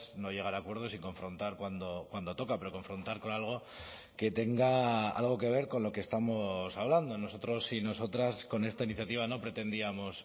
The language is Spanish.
no llegar a acuerdos y confrontar cuando toca pero confrontar con algo que tenga algo que ver con lo que estamos hablando nosotros y nosotras con esta iniciativa no pretendíamos